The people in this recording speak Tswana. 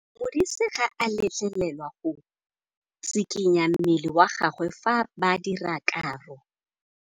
Modise ga a letlelelwa go tshikinya mmele wa gagwe fa ba dira karô.